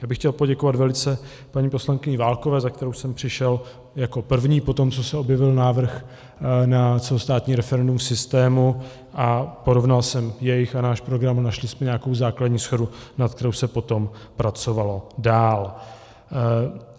Já bych chtěl poděkovat velice paní poslankyni Válkové, za kterou jsem přišel jako první potom, co se objevil návrh na celostátní referendum v systému, a porovnal jsem jejich a náš program a našli jsme nějakou základní shodu, nad kterou se potom pracovalo dál.